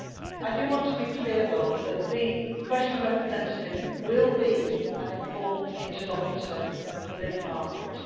I do want to be clear that the Special Representative will be an important interlocutor for this Parliament.